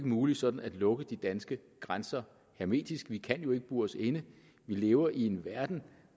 muligt sådan at lukke de danske grænser hermetisk vi kan jo ikke bure os inde vi lever i en verden